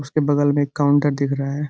उसके बगल में एक काउंटर दिख रहा है।